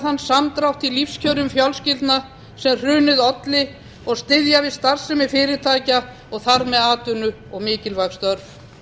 þann samdrátt í lífskjörum fjölskyldna sem hrunið olli og styðja við starfsemi fyrirtækja og þar með atvinnu og mikilvæg störf